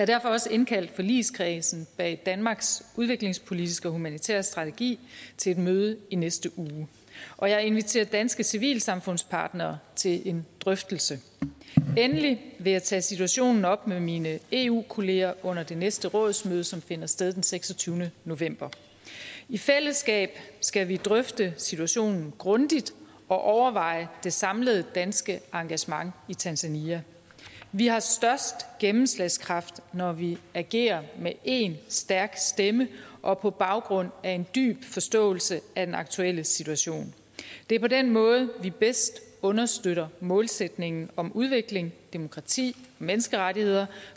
derfor også indkaldt forligskredsen bag danmarks udviklingspolitiske og humanitære strategi til et møde i næste uge og jeg inviterer danske civilsamfundspartnere til en drøftelse endelig vil jeg tage situationen op med mine eu kolleger under det næste rådsmøde som finder sted den seksogtyvende november i fællesskab skal vi drøfte situationen grundigt og overveje det samlede danske engagement i tanzania vi har størst gennemslagskraft når vi agerer med én stærk stemme og på baggrund af en dyb forståelse af den aktuelle situation det er på den måde vi bedst understøtter målsætningen om udvikling demokrati og menneskerettigheder